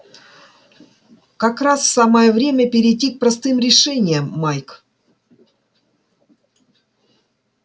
как раз самое время перейти к простым решениям майк